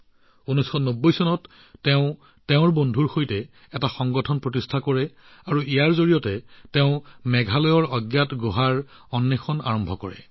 ১৯৯০ চনত তেওঁ বন্ধুৰ সৈতে এটা সংঘ স্থাপন কৰে আৰু ইয়াৰ জৰিয়তে তেওঁ মেঘালয়ৰ অচিনাকি গুহাবোৰৰ বিষয়ে জানিবলৈ আৰম্ভ কৰে